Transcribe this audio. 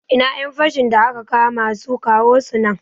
Ina ƴan fashin da aka kama su, kawo su nan